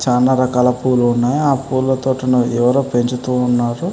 చాన రకాల పూలు ఉన్నాయి ఆ పూల తోటని ఎవరో పెంచుతూ ఉన్నారు.